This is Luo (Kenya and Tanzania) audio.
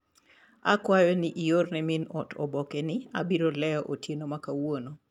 Akwayo iorne min ot oboke ni abiro leo otieno makawuono.